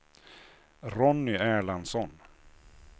Ronny Erlandsson